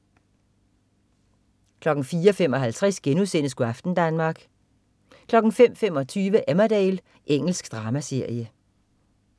04.55 Go' aften Danmark* 05.25 Emmerdale. Engelsk dramaserie